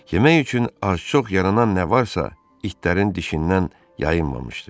Yemək üçün az-çox yaranan nə varsa, itlərin dişindən yayınmamışdı.